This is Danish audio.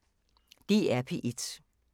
DR P1